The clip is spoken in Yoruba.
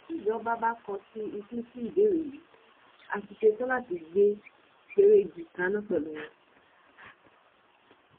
tíjọba bá kọtí ikún sí ìbéèrè yìí á ti ṣetán láti gbé pẹrẹgí kaná pẹlú wọn